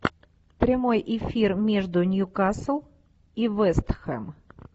прямой эфир между ньюкасл и вест хэм